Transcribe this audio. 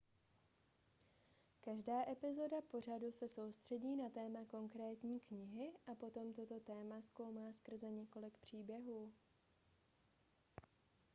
každá epizoda pořadu se soustředí na téma konkrétní knihy a potom toto téma zkoumá skrze několik příběhů